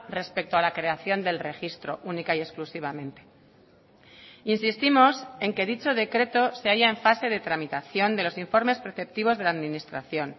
respecto a la creación del registro única y exclusivamente insistimos en que dicho decreto se halla en fase de tramitación de los informes preceptivos de la administración